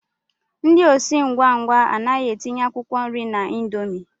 Ndị osi ngwa ngwa na-etinye akwụkwọ nri n'ime indomi